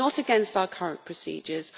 It is not against our current procedures.